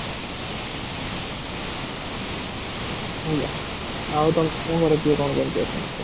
ଆଜ୍ଞା ଆଉ ତମ ଘରେ କିଏ କଣ enjoy କରୁଛ